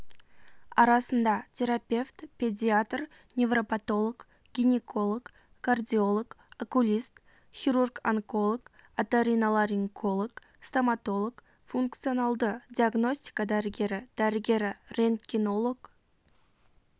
арасында терапевт педиатр невропатолог гинеколог кардиолог окулист хирург-онколог оториноларинколог стоматолог функционалды диагностика дәрігері дәрігері рентгенолог